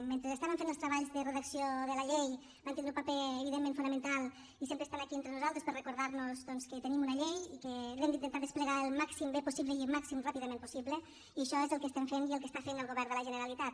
mentre estàvem fent els treballs de redacció de la llei van tindre un paper evidentment fonamental i sempre estan aquí entre nosaltres per recordar nos doncs que tenim una llei i que l’hem d’intentar desplegar al màxim de bé possible i al màxim ràpidament possible i això és el que estem fent i el que està fent el govern de la generalitat